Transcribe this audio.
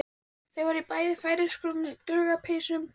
Þau voru bæði í færeyskum duggarapeysum.